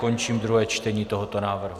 Končím druhé čtení tohoto návrhu.